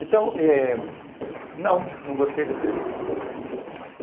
Então, eh não, não gostei da entrevista.